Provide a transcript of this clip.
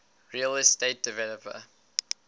real estate developer